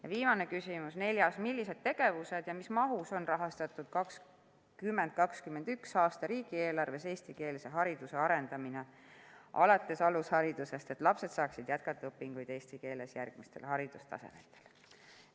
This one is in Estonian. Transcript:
Ja viimane küsimus, neljas: millised tegevused ja mis mahus on rahastatud 2021. aasta riigieelarves eestikeelse hariduse arendamiseks alates alusharidusest, et lapsed saaksid jätkata õpinguid eesti keeles järgmistel haridustasemetel?